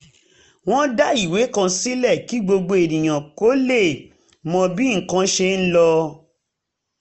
wọ́n dá ìwé kan sílẹ̀ kí gbogbo ènìyàn lè mọ bí nǹkan ṣe ń lọ